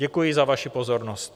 Děkuji za vaši pozornost.